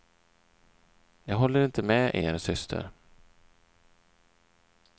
Jag håller inte med er syster.